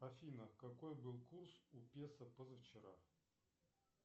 афина какой был курс у песо позавчера